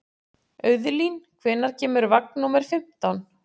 Auðlín, hvenær kemur vagn númer fimmtán?